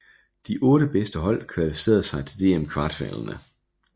De otte bedste hold kvalificerede sig til DM kvartfinalerne